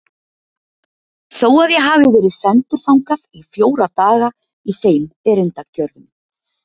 Þó að ég hafi verið sendur þangað í fjóra daga í þeim erindagjörðum.